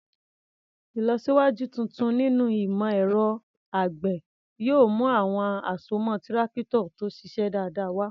Ìlọsíwájú tuntun nínú ìmọ̀ ẹ̀rọ àgbẹ̀ yóò mú àwọn àsomọ́ Tírákítọ̀ tó ṣiṣẹ́ dáadáa wá.